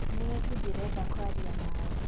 Nĩwe tu ndĩrenda kwaria nawe.